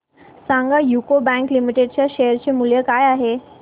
सांगा UCO bank limited च्या share चे मूल्य काय आहे